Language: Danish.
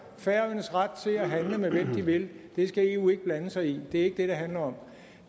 færøernes ret til at handle med hvem de vil det skal eu ikke blande sig i det er ikke det det handler om